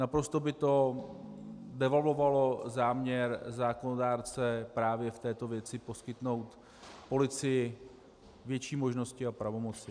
Naprosto by to devalvovalo záměr zákonodárce právě v této věci poskytnout policii větší možnosti a pravomoci.